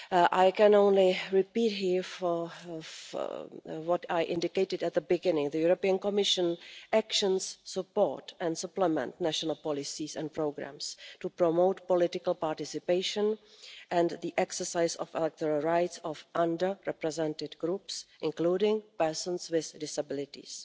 I can only repeat here what I indicated at the beginning the Commission's actions support and supplement national policies and programmes to promote political participation and the exercise of the electoral rights of under represented groups, including persons with disabilities.